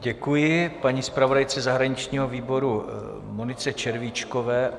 Děkuji paní zpravodajce zahraničního výboru Monice Červíčkové.